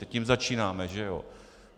Teď jím začínáme, že jo.